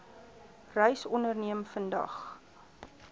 reis onderneem vandag